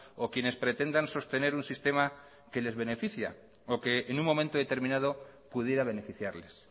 o quienes pretendan sostener un sistema que les beneficia o que en un momento determinado pudiera beneficiarles